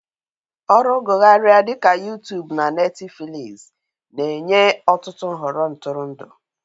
Ọrụ gụgharia dị ka Yụụtuubụ na Netifiliizi na-enye ọtụtụ nhọrọ ntụrụndụ.